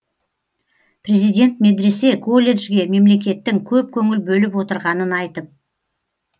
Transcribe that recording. президент медресе колледжге мемлекеттің көп көңіл бөліп отырғанын айтып